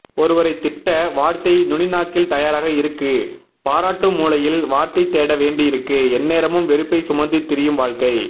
ஒருத்தரை திட்ட வார்த்தை நுனிநாக்கில் தயாராகஇருக்கு பாராட்டாமூலையில் வார்த்தைதேட வேண்டி இருக்கு எந்நேரமும் வெறுப்பை சுமந்து திரியும்வாழ்க்கை